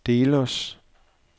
Delos